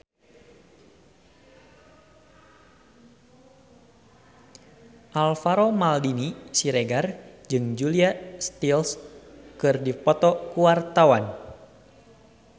Alvaro Maldini Siregar jeung Julia Stiles keur dipoto ku wartawan